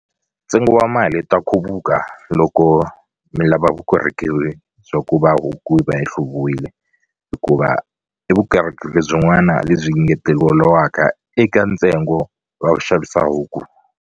Ntsengo wa mali ta khupuka loko mi lava vukorhokeri bya ku va huku yi va yi hluviwile hikuva i vukorhokeri byin'wana lebyi ngeteleliwaka eka ntsengo wa ku xavisa huku.